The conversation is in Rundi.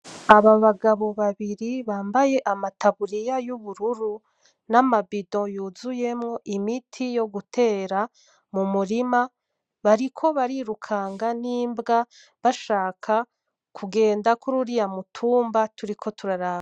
Aba bagabo babiri bambaye amataburiya y’ubururu, n’amabido yuzuyemwo imiti yo gutera mu murima, bariko barirukanga n’imbwa bashaka kugenda kur’uriya mutumba turiko turaraba.